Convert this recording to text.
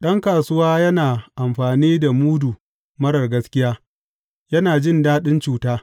Ɗan kasuwa yana amfani da mudu marar gaskiya; yana jin daɗin cuta.